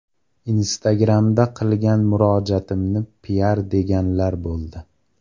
Instagram’da qilgan murojaatimni piar deganlar bo‘ldi.